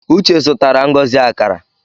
Uche zutara Ngozi akara